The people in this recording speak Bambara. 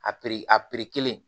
A piri a pere kelen